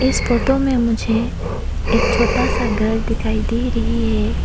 इस फोटो में मुझे एक छोटा सा घर दिखाई दे रही है।